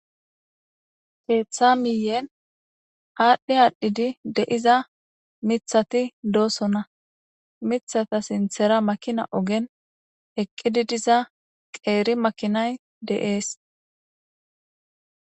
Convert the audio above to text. keeththa miyen aadhdhi aadhdhidi de7iza mithati doosona mithata sinthera makina ogen eqqidi diza qeeri makinay de7ees